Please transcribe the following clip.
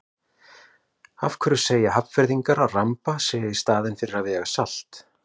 Af hverju segja Hafnfirðingar að ramba í staðinn fyrir að vega salt?